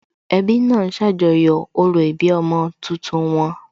Ẹbí náà ń ṣàjọyọ̀ orò ìbí ọmọ tuntun wọn